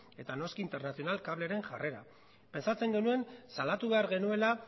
eta noski internacional cableren jarrera pentsatzen genuen salatu behar genuela